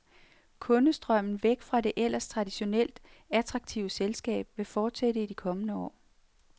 Kundestrømmen væk fra det ellers traditionelt attraktive selskab vil fortsætte i de kommende år.